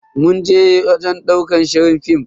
Mun je wajen ɗaukar shirin fim.